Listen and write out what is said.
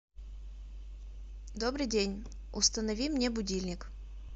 добрый день установи мне будильник